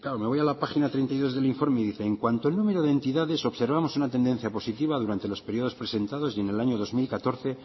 me voy a la página treinta y dos del informe y dice en cuanto el número de entidades observamos una tendencia positiva durante los periodos presentados y en el año dos mil catorce